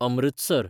Amritsar